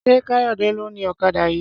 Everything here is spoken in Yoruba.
Ṣé Káyọ̀dé ló ni ọ̀kadà yìí?